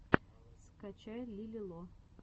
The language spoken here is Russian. скачай лили ло